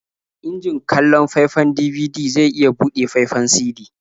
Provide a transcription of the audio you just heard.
Injin kallon faifan DVD zai iya buɗe faifan CD.